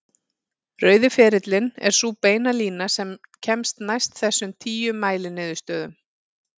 Rauði ferillinn er sú beina lína sem kemst næst þessum tíu mæliniðurstöðum.